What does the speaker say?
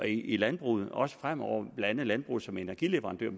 i landbruget også fremover blandt andet landbruget som energileverandør